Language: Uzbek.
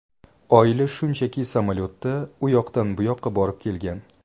Oila shunchaki samolyotda u yoqdan bu yoqqa borib kelgan.